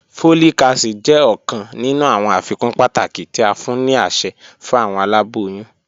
Folic acid jẹ ọkan ninu awọn afikun pataki ti a fun ni aṣẹ fun awọn alaboyun.